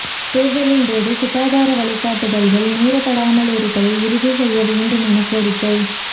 தேர்தலின்போது சுகாதார வழிகாட்டுதல்கள் மீறப்படாமலிருப்பதை உறுதி செய்ய வேண்டும் என கோரிக்கை